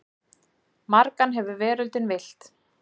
Margan hefur veröldin villt.